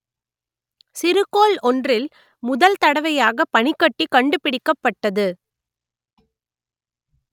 சிறுகோள் ஒன்றில் முதல்தடவையாக பனிக்கட்டி கண்டுபிடிக்கப்பட்டது